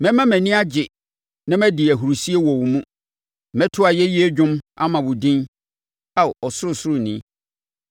Mɛma mʼani agye na madi ahurisie wɔ wo mu. Mɛto ayɛyie dwom ama wo din, Ao Ɔsorosoroni.